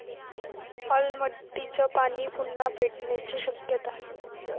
अलमट्टीचं पाणी पुन्हा पेटण्याची शक्यता!